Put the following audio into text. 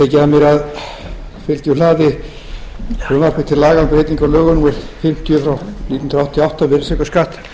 laga um breytingu á lögum númer fimmtíu nítján hundruð áttatíu og átta um virðisaukaskatt